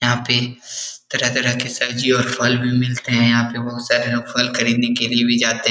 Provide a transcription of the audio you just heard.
यहाँ पे तरह- तरह के सब्जी और फल भी मिलते हैं । यहाँ पे बहुत सारे लोग फल खरीदने के लिए भी जाते हैं ।